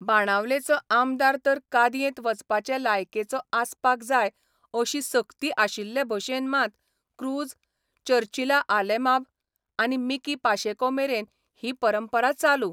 बाणावलेचो आमदार तर कादयेंत वचपाचे लायकेचो आसपाक जाय अशी सक्ती आशिल्ले भाशेन माँत क्रूज, चर्चिला आलेमांब आनी मिकी पाशेकोमेरेन ही परंपरा चालू